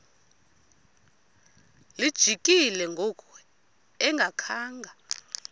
lijikile ngoku engakhanga